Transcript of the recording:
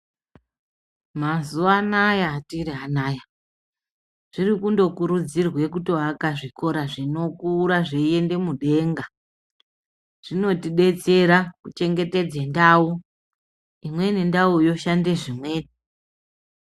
Mazuvanaya atiri anaya, zvirikundokurudzirwe kundovaka zvikora zvinokura zveyende mudenga. Zvinotidetsera kuchengetedze ndawo. Imweni ndawo yoshande zvimweni.